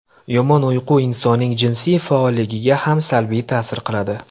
Yomon uyqu insonning jinsiy faolligiga ham salbiy ta’sir qiladi.